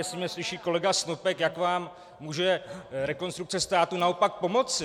Jestli mě slyší kolega Snopek, jak vám může Rekonstrukce státu naopak pomoci.